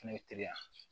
Fɛnɛ bɛ teliya